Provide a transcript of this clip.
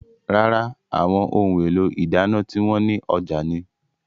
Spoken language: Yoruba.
Rárá, àwọn ohun èlò ìdáná tí wọn ní ọjà ni.